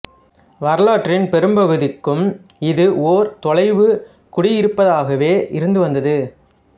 வரலாற்றின் பெரும்பகுதிக்கும் இது ஓர் தொலைவுக் குடியிருப்பாகவே இருந்து வந்தது